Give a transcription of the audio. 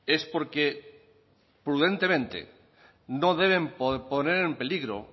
es porque prudentemente no deben poner en peligro